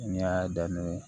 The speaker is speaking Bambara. N y'a daminɛ